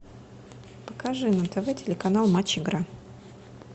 покажи на тв телеканал матч игра